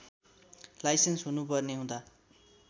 licence हुनुपर्ने हुँदा